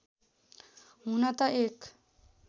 हुन त एक